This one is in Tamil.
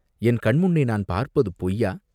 என் கண் முன்னே நான் பார்ப்பது பொய்யா?